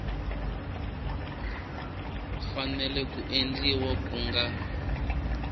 fanele ku endliwa ku nga